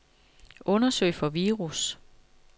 Undersøg for virus.